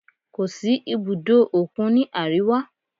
Kò sí ibùdó òkun ní àríwá.